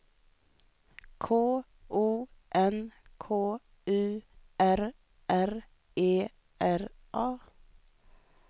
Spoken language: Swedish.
K O N K U R R E R A